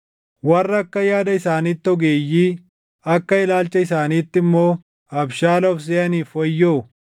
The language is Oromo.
Warra akka yaada isaaniitti ogeeyyii, akka ilaalcha isaaniitti immoo abshaala of seʼaniif wayyoo.